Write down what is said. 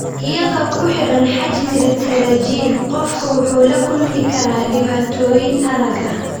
Iyadoo ku xiran xajmiga pterygium, qofku wuxuu la kulmi karaa dhibaatooyin aragga.